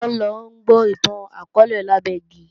Funṣọ́ ńlọ gbó ìtàn akọọ́lẹ̀ lábẹ́ igi